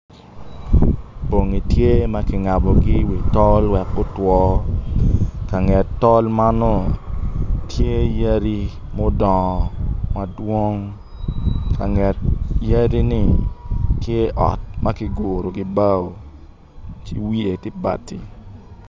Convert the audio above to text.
Bongi tye ma kingabogi i wii tol wek gutwo kanget tol ma nongo tye yadi mudongo madwong ka nget yadi ni tye ot ma kiguru ki bao ci wiye tye bati